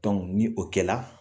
Dɔnku ni o kɛra